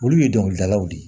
Olu ye dɔnkilidalaw de ye